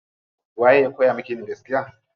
Waye ya kowa miki yin gaskiya.